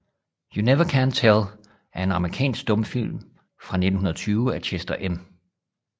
You Never Can Tell er en amerikansk stumfilm fra 1920 af Chester M